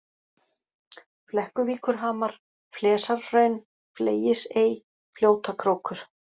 Flekkuvíkurhamar, Flesarhraun, Fleyisey, Fljótakrókur